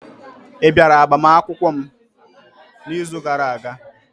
Ị bịara agbamakwụkwọ m n'izu gara-aga?